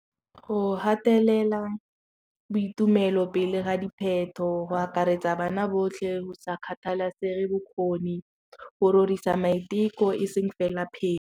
Go gatelela boitumelo pele ga dipheto go akaretsa bana botlhe go sa kgathalesege bokgoni go rorisa maiteko e seng fela .